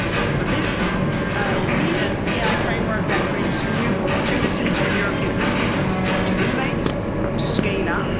For this we need an AI framework that creates new opportunities for European businesses to innovate, to scale up.